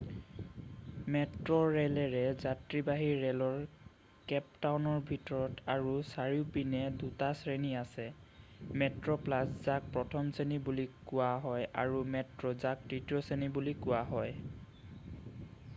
মেট্ৰোৰে'লৰ যাত্ৰীবাহি ৰে'লৰ কেপ টাউনৰ ভিতৰত আৰু চাৰিওপিনে দুটা শ্ৰেণী আছে। মেট্ৰোপ্লাছ যাক প্ৰথম শ্ৰেণী বুলি কোৱা হয় আৰু মেট্ৰো যাক তৃতীয় শ্ৰেণী বুলি কোৱা হয়।